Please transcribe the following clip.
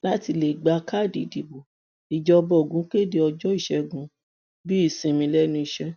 láti lè gba káàdì ìdìbò ìjọba ogun kéde ọjọ ìṣègùn bíi ìsinmi lẹnu iṣẹ